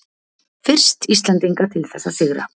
Fyrst Íslendinga til þess að sigra